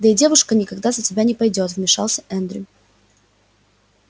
да и девушка никогда за тебя не пойдёт вмешался эндрю